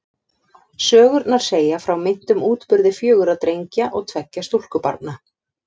Sögurnar segja frá meintum útburði fjögurra drengja og tveggja stúlkubarna.